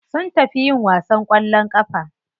Sun tafi yin wasan kwallon kafa.